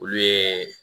Olu ye